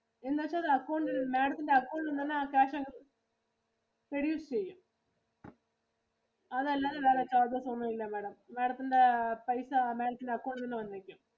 എന്ന് വെച്ചാ account ഇൽ Madam ത്തിന്റെ account ഇൽ നിന്ന് തന്നെ ആ cash അങ്ങ് reduce ചെയ്യും. അതല്ലാതെ വേറെ charges ഒന്നും ഇല്ല Madam. Madam ത്തിന്റെ പൈസ Madam ത്തിന്റെ account ഇൽ നിന്ന് വന്നേക്കും.